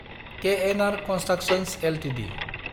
KNR constructions Ltd